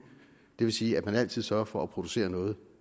det vil sige at man altid sørger for at producere noget